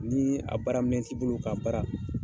Ni a baara minɛn t'i bolo ka baara.